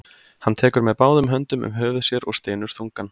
Hann tekur með báðum höndum um höfuð sér og stynur þungan.